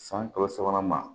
San kalo sabanan ma